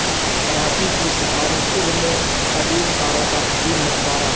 کراچی کی سہانی صبح میں قدیم کاروں کا حسین نظارہ